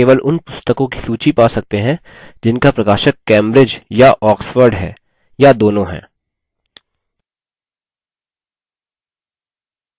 कैसे how केवल उन पुस्तकों की सूची how सकते हैं जिनका प्रकाशक cambridge या oxford है या दोनों हैं